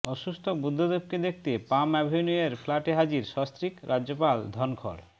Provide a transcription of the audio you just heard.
অসুস্থ বুদ্ধদেবকে দেখতে পাম অ্যাভিনিউয়ের ফ্ল্যাটে হাজির সস্ত্রীক রাজ্যপাল ধনখড়